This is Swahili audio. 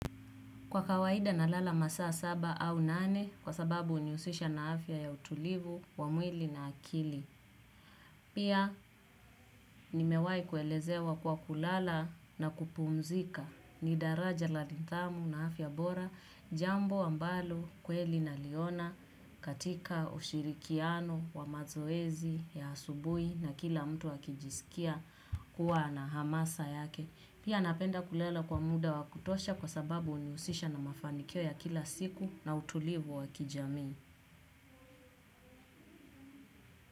Kwa kawaida nalala masaa saba au nane kwa sababu hunihusisha na afya ya utulivu wa mwili na akili. Pia nimewahi kuelezewa kwa kulala na kupumzika ni daraja la nidhamu na afya bora jambo ambalo kweli naliona katika ushirikiano wa mazoezi ya asubuhi na kila mtu akijisikia kuwa na hamasa yake. Pia napenda kulala kwa muda wa kutosha kwa sababu hunihusisha na mafanikio ya kila siku na utulivu wa kijamii.